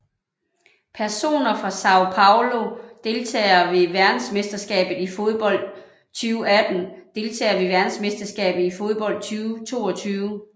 Personer fra São Paulo Deltagere ved verdensmesterskabet i fodbold 2018 Deltagere ved verdensmesterskabet i fodbold 2022